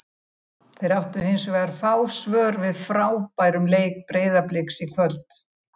Þeir áttu hins vegar fá svör við frábærum leik Breiðabliks í kvöld.